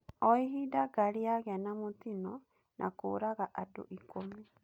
O-ihinda ngari yagĩa na mũtino na kũũraga andũ ikũmi.